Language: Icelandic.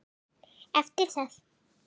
Eftir það